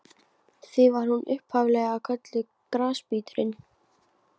Því var hún upphaf-lega kölluð Grasbíturinn.